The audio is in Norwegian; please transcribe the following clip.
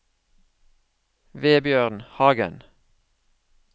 Vebjørn Hagen